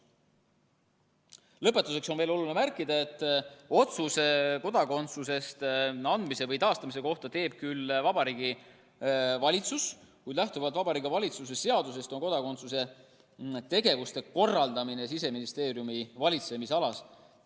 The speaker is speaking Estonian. Lõpetuseks on oluline märkida, et otsuse kodakondsuse andmise või taastamise kohta teeb küll Vabariigi Valitsus, kuid lähtuvalt Vabariigi Valitsuse seadusest on kodakondsuse tegevuste korraldamine Siseministeeriumi valitsemisalas.